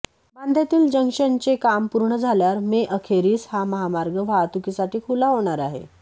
बांद्यातील जंक्शनचे काम पूर्ण झाल्यावर मेअखेरीस हा महामार्ग वाहतुकीसाठी खुला होणार आहे